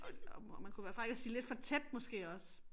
Og og og man kunne være fræk og sige lidt for tæt måske også